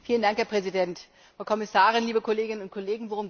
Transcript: Herr Präsident, Frau Kommissarin, liebe Kolleginnen und Kollegen!